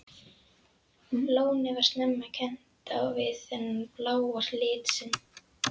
Lónið var snemma kennt við þennan bláa lit sinn.